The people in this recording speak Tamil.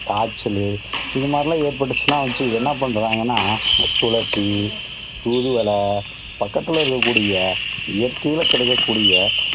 காய்ச்சலு இது மாதிரில்லாம் ஏற்பட்டுச்சுன்னா அவங்க என்ன பண்றாங்கன்னா, துளசி, தூதுவளை பக்கத்தில இருக்கக்கூடிய இயற்கையில கிடைக்கக்கூடிய